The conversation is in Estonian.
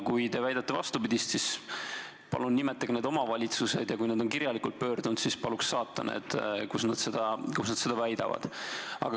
Kui te väidate vastupidist, siis palun nimetage need omavalitsused, ja kui nad on kirjalikult pöördunud, siis paluks saata need, kus nad seda väidavad.